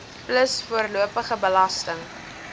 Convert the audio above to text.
plus voorlopige belasting